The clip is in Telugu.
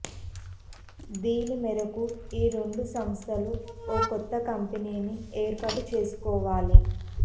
దీని మేరకు ఈ రెండు సంస్థలు ఓ కొత్త కంపెనీని ఏర్పాటు చేసుకోవాలి